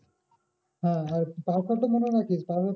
হ্যাঁ আর password টা মনে রাখিস তারপর